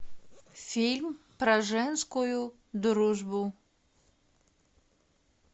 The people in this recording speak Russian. фильм про женскую дружбу